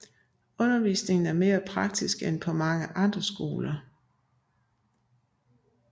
Undervisningen er mere praktisk end på mange andre skoler